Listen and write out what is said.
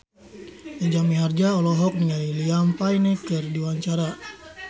Jaja Mihardja olohok ningali Liam Payne keur diwawancara